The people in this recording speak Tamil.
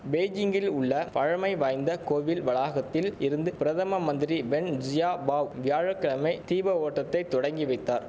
பெய்ஜிங்கில் உள்ள பழமைவாய்ந்த கோயில் வளாகத்தில் இருந்து பிரதம மந்திரி வென் ஜியாபாவ் வியாழ கிழமை தீப ஓட்டத்தை தொடங்கி வைத்தார்